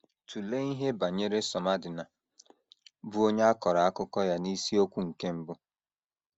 Tụlee ihe banyere Somadina, bụ́ onye a kọrọ akụkọ ya n’isiokwu nke mbụ.